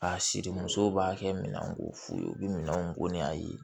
A siri musow b'a kɛ minan k'u f'u ye u bi minɛnw ko ni a ye